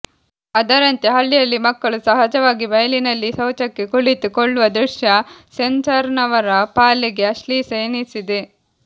ಅದರಂತೆ ಹಳ್ಳಿಯಲ್ಲಿ ಮಕ್ಕಳು ಸಹಜವಾಗಿ ಬಯಲಿನಲ್ಲಿ ಶೌಚಕ್ಕೆ ಕುಳಿತು ಕೊಳ್ಳುವ ದೃಶ್ಯ ಸೆನ್ಸರ್ನವರ ಪಾಲಿಗೆ ಅಶ್ಲೀಲ ಎನ್ನಿಸಿದೆ